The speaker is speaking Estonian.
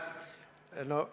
Aitäh!